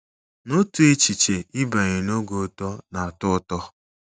N'otu echiche, ịbanye n'oge uto na-atọ ụtọ.